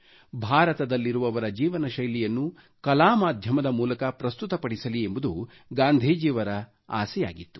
ಭಾರತದಲ್ಲಿರುವವರ ಜೀವನಶೈಲಿಯನ್ನು ಕಲಾ ಮಾಧ್ಯಮದ ಮೂಲಕ ಪ್ರಸ್ತುತಪಡಿಸಲಿ ಎಂಬುದು ಗಾಂಧೀಜಿಯವರ ಆಸೆಯಾಗಿತ್ತು